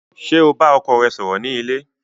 Ṣé o bá ọkọ rẹ sọ̀rọ̀ ni ilé?